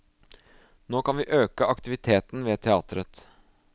Nå kan vi øke aktiviteten ved teatret.